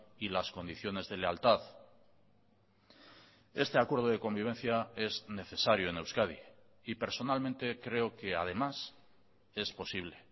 y las condiciones de lealtad este acuerdo de convivencia es necesario en euskadi y personalmente creo que además es posible